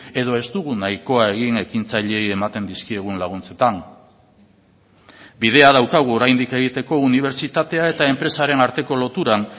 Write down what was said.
edo ez dugu nahikoa egin ekintzaileei ematen dizkiegun laguntzetan bidea daukagu oraindik egiteko unibertsitatea eta enpresaren arteko loturan